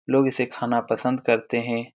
लोग इसे खाना पसंद करते हैं।